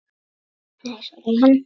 Nei, svaraði hann.